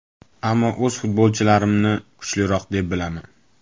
Ammo o‘z futbolchilarimni kuchliroq deb bilaman.